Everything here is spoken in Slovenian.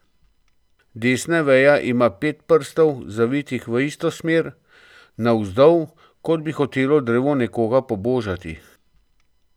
Desna veja ima pet prstov, zavitih v isto smer, navzdol, kot bi hotelo drevo nekoga pobožati.